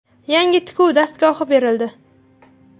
Yangi tikuv dastgohi berildi.